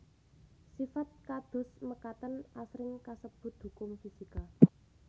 Sifat kados mekaten asring kasebut hukum fisika